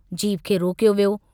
Jeep खे रोकायो वियो।